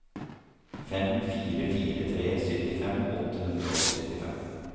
fem fire fire tre syttifem åtte hundre og syttifem